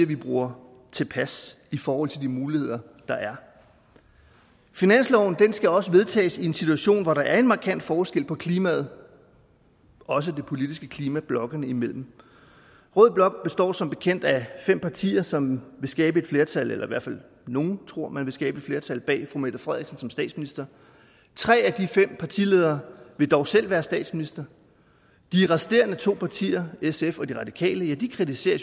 vi bruger tilpas i forhold til de muligheder der er finansloven skal også vedtages i en situation hvor der er en markant forskel på klimaet også det politiske klima blokkene imellem rød blok består som bekendt af fem partier som vil skabe et flertal nogle tror man kan skabe et flertal bag fru mette frederiksen som statsminister tre af de fem partiledere vil dog selv være statsminister de resterende to partier sf og de radikale kritiserer